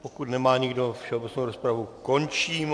Pokud nemá nikdo, všeobecnou rozpravu končím.